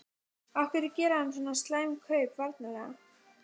Af hverju gerir hann svona slæm kaup varnarlega?